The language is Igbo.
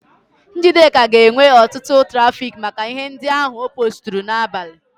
Njideka ga-enwe ọtụtụ trafiki maka ihe ndị ahụ o poosturu n'abalị.